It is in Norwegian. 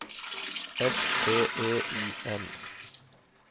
S T E I N